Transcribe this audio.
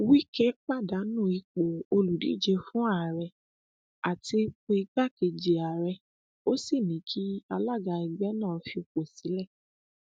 wike pàdánù ipò olùdíje fún àárẹ àti ipò igbákejì ààrẹ ó sì ní kí alága ẹgbẹ náà fipò sílẹ